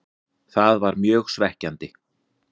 Það var mjög svekkjandi.